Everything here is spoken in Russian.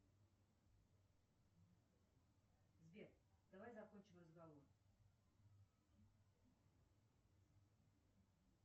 сбер давай закончим разговор